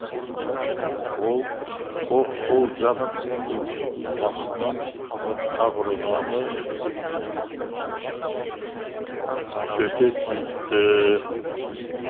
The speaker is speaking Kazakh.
ол оқ сол жақ емшектің астынан қабырғаны сөте тиіпті